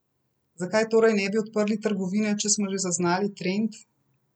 Zakaj torej ne bi odprli trgovine, če smo že zaznali trend?